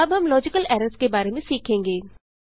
अब हम logical errors के बारे में सीखेंगे